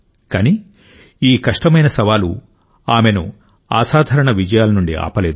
కానీ ఈ కష్టమైన సవాలు ఆమెను అసాధారణ విజయాల నుండి ఆపలేదు